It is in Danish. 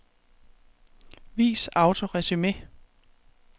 Vis autoresumé.